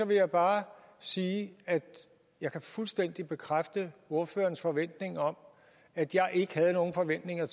vil jeg bare sige at jeg fuldstændig kan bekræfte ordførerens forventning om at jeg ikke havde nogen forventninger